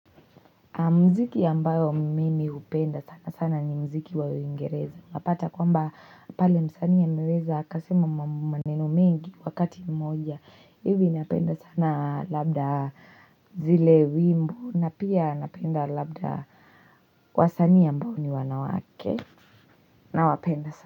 Mziki ambao mimi upenda sana sana ni mziki wa uingereza. Napata kwamba pale msanii a meweza akasema maneno mengi wakati mmoja. Ivi napenda sana labda zile wimbo. Napia napenda labda wa sanii a mbao ni wanawake. Na wapenda sana.